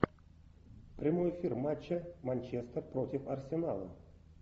прямой эфир матча манчестер против арсенала